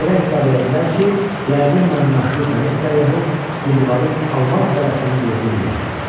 Belə hesab elədilər ki, yəqin mən məşhur dəniz səyyahı Sindbadın almaz dərələrinin yerini bilirəm.